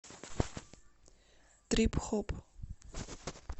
трип хоп